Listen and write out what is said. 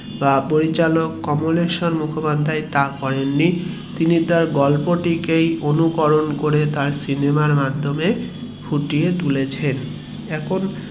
বা পরিচালক কমলেশ্বর মুখোপাধ্যায় তা করেন নি তিনি গল্প টি কে অনুকরণ করে তার সিনেমার মধ্যে দিয়ে ফুটিয়ে তুলেছেন এখন